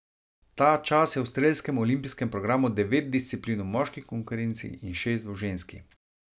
Ta čas je v strelskem olimpijskem programu devet disciplin v moški konkurenci in šest v ženski.